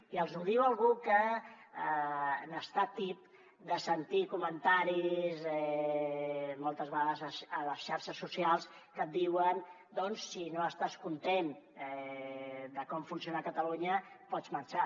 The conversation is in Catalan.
i els ho diu algú que n’està tip de sentir comentaris moltes vegades a les xarxes socials que et diuen doncs si no estàs content de com funciona catalunya pots marxar